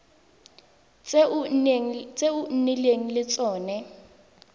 tse o nnileng le tsone